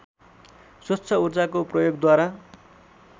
स्वच्छ ऊर्जाको प्रयोगद्वारा